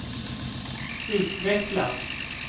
utvecklas